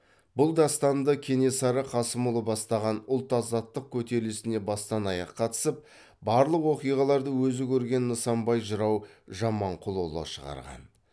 бұл дастанды кенесары қасымұлы бастаған ұлт азаттық кетерілісіне бастан аяқ қатысып барлық оқиғаларды өзі көрген нысанбай жырау жаманқұлұлы шығарған